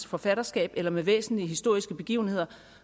forfatterskab eller med væsentlige historiske begivenheder